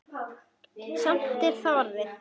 Samt er það orð.